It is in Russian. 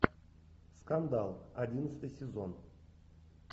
скандал одиннадцатый сезон